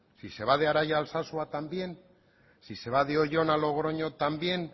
si se va de araia a alsasua también si se va de oion a logroño también